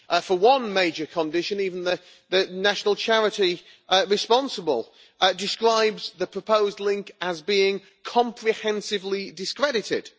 For one major condition, even the national charity responsible describes the proposed link as being comprehensively discredited'.